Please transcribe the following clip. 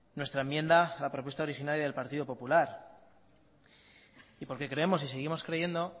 nuestra enmienda a la propuesta originaria del partido popular creemos y seguimos creyendo